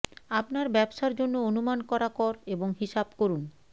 আপনার ব্যবসার জন্য অনুমান করা কর এবং হিসাব করুন